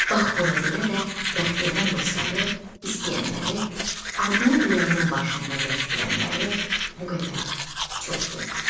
Bax buna görə də Bəxtiyarın dostları, istəyənləri, adını ürəyinin başında gəzdirənləri bu qədər çoxdur.